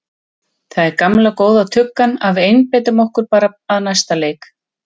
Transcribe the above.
Það er gamla góða tuggan að við einbeitum okkur bara að næsta leik.